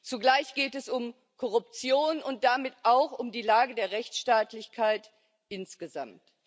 Zugleich geht es um Korruption und damit auch um die Lage der Rechtsstaatlichkeit insgesamt.